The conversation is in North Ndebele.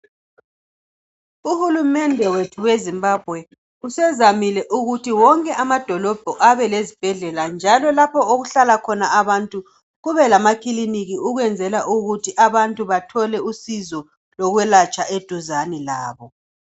Uhulumende wethu weZimbabwe usezamile ukuthi wonke amadolobho abelezibhedlela, njalo lapho okuhlala khona abantu kubelamakiliniki ukwenzela ukuthi abantu bathole usizo lokwelatshwa eduzane labo.